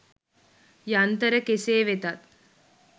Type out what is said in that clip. යන්තර කෙසේ වෙතත්